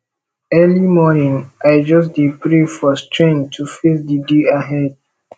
early morning i just dey pray for strength to face di day ahead